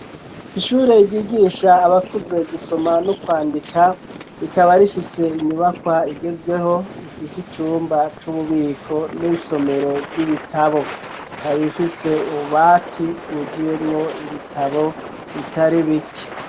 Ishuri ryigisha abakuze gusoma no kwandika rikaba rifise inyubakwa igezweho ifise icumba c'ububiko n'isomero ry'ibitabo ikaba ifise ububati bwuzuyemwo ibitabo bitari bike.